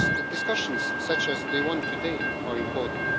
Discussions such as the one today are important.